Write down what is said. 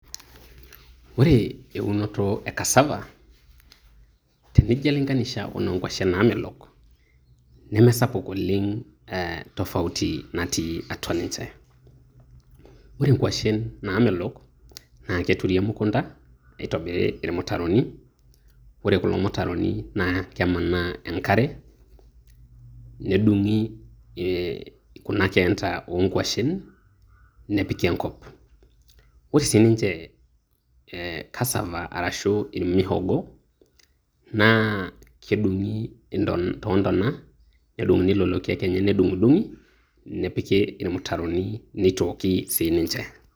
Ore eunoto e kasava tenijo ailinganisha enoo nkuashen naamelok nemesapuk oleng ee tofauti natii atua ninje, ore nkuashen naamelok naa keturi emukunta neitobiri ilmutaroni ore kulo mutaroni naa kemanaa enkare, nedung`i e kuna keenta oo nkuashen nepiki enkop. Ore sii ninje kasava arashu irmihogo naa kedungi too ntona nedung`uni lelo kiek lenye nedung`idung`i nepiki ilmutaroni neitooki sii ninche.